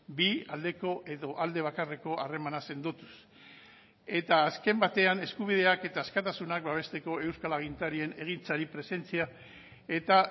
bi aldeko edo alde bakarreko harremana sendotuz eta azken batean eskubideak eta askatasunak babesteko euskal agintarien egintzari presentzia eta